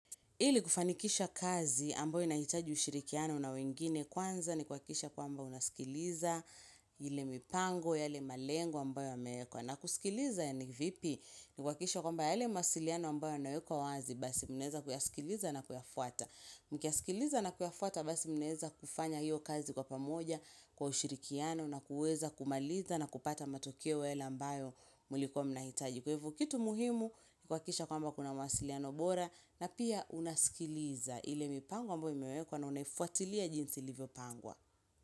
Ili kufanikisha kazi ambayo inahitaji ushirikiano na wengine kwanza ni kuhakikisha kwamba unasikiliza ile mipango yale malengo ambayo yameekwa. Na kusikiliza ni vipi? Ni kuhakikisha kwamba yale mawasiliano ambayo yanawekwa wazi basi munaweza kuyasikiliza na kuyafuata. Mkiyasikiliza na kuyafuata basi munaweza kufanya hiyo kazi kwa pamoja kwa ushirikiano na kuweza kumaliza na kupata matokeo yale ambayo mulikuwa mnahitaji. Kwa hivyo kitu muhimu, kuhakikisha kwamba kuna mawasiliano bora na pia unasikiliza ile mipango ambayo imewekwa na unaifuatilia jinsi ilivyopangwa.